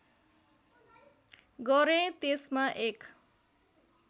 गरेँ त्यसमा एक